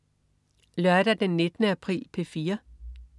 Lørdag den 19. april - P4: